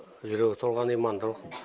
жүрегі толған имандылық